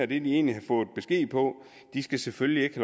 de egentlig har fået besked på selvfølgelig ikke